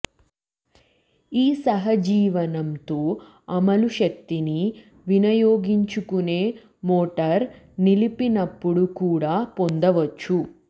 ఈ సహజీవనం తో అమలు శక్తిని వినియోగించుకునే మోటార్ నిలిపినప్పుడు కూడా పొందవచ్చు